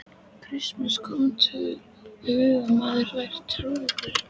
Christian kom til hugar að maðurinn væri trúður.